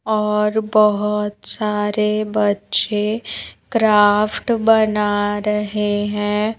और बहोत सारे बच्चे क्राफ्ट बना रहे हैं।